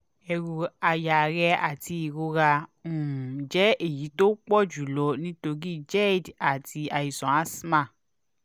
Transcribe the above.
eru aya rẹ àti ìrora um jẹ́ èyí tó pọ̀ jù lọ nítorí gerd àti àìsàn asthma